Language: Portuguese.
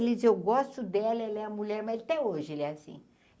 Ele diz, eu gosto dela, ele é a mulher, mais até hoje, ele é assim.